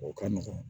O ka nɔgɔn